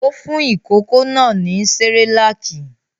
Ó fún ìkókó náà ní Cerelac?